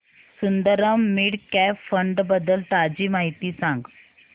Sundaram mid cap fund बद्दल ताजी माहिती सांग